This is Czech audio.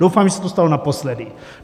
Doufám, že se to stalo naposledy.